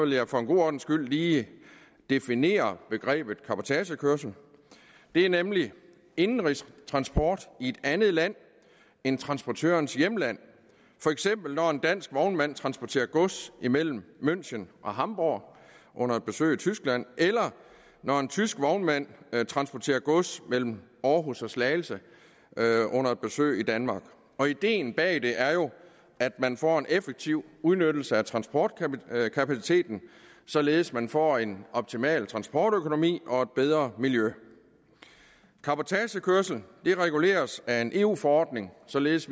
jeg for god ordens skyld lige definere begrebet cabotagekørsel det er nemlig indenrigstransport i et andet land end transportørens hjemland for eksempel når en dansk vognmand transporterer gods mellem münchen og hamburg under et besøg i tyskland eller når en tysk vognmand transporterer gods mellem århus og slagelse under et besøg i danmark ideen bag det er jo at man får en effektiv udnyttelse af transportkapaciteten således at man får en optimal transportøkonomi og et bedre miljø cabotagekørsel reguleres af en eu forordning således